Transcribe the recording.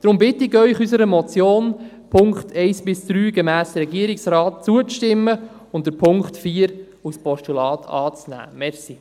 Darum bitte ich Sie, unserer Motion in den Punkten 1 bis 3 gemäss Regierungsrat zuzustimmen und den Punkt 4 als Postulat anzunehmen.